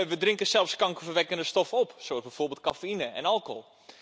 We drinken zelfs kankerverwekkende stoffen, zoals bijvoorbeeld cafeïne en alcohol.